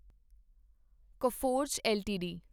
Coforge LTD